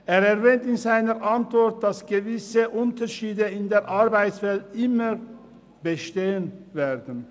Er erwähnt in seiner Antwort, dass gewisse Unterschiede in der Arbeitswelt immer bestehen werden.